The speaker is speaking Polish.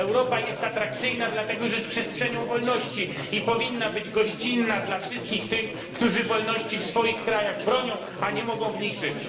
Europa jest atrakcyjna, dlatego że jest przestrzenią wolności i powinna być gościnna dla wszystkich tych, którzy wolności w swoich krajach bronią, a nie mogą w nich żyć.